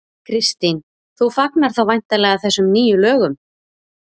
Kristín: Þú fagnar þá væntanlega þessum nýju lögum?